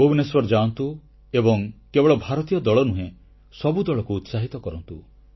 ଭୁବନେଶ୍ୱର ଯାଆନ୍ତୁ ଏବଂ କେବଳ ଭାରତୀୟ ଦଳ ନୁହେଁ ସବୁ ଦଳକୁ ଉତ୍ସାହିତ କରନ୍ତୁ